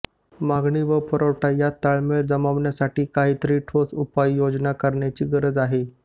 मागणी व पुरवठा यात ताळमेळ जमवण्यासाठी काहीतरी ठोस उपाययोजना करण्याची गरज आहे